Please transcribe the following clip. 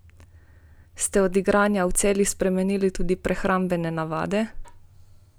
Ste od igranja v Celju spremenili tudi prehrambene navade?